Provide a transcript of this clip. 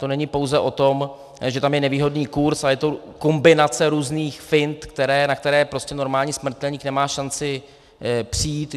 To není pouze o tom, že tam je nevýhodný kurz, ale je to kombinace různých fint, na které prostě normální smrtelník nemá šanci přijít.